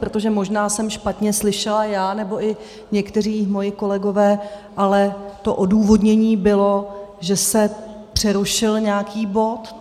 Protože možná jsem špatně slyšela já nebo i někteří moji kolegové, ale to odůvodnění bylo, že se přerušil nějaký bod.